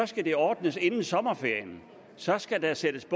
skal det ordnes inden sommerferien så skal der sættes